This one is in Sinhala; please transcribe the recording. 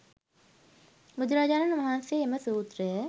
බුදුරජාණන් වහන්සේ එම සූත්‍රය